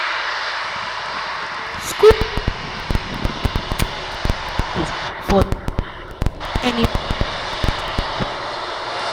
school fee every year get small small charges for term fee uniform and book matter.